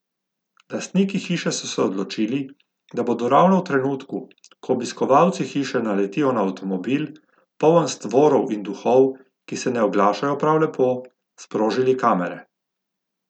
Lastniki hiše so se odločili, da bodo ravno v trenutku, ko obiskovalci hiše naletijo na avtomobil, poln stvorov in duhov, ki se ne oglašajo prav lepo, sprožili kamere.